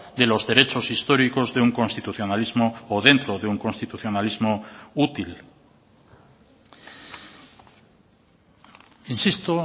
de los derechos históricos de un constitucionalismo o dentro de un constitucionalismo útil insisto